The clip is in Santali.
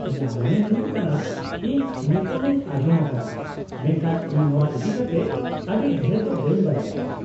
-ᱤᱧᱟᱹᱜ ᱢᱚᱱᱮ ᱦᱩᱭᱩᱜ ᱠᱟᱱᱟ ᱤᱧ ᱧᱩᱛᱩᱢᱤᱧ ᱟᱸᱡᱚᱢ ᱟᱠᱟᱫᱟ, ᱢᱮᱱᱠᱷᱟᱱ ᱤᱧ ᱱᱚᱶᱟ ᱤᱫᱤᱠᱟᱛᱮ ᱟᱹᱰᱤ ᱰᱷᱮᱨ ᱫᱚ ᱵᱟᱹᱧ ᱵᱟᱰᱟᱭᱟ ᱾